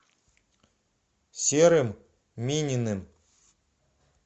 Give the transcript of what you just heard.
серым мининым